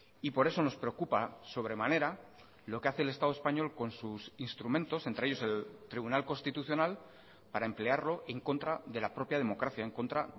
y por eso nos preocupa sobremanera lo que hace el estado español con sus instrumentos entre ellos el tribunal constitucional para emplearlo en contra de la propia democracia en contra